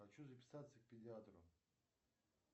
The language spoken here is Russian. хочу записаться к педиатру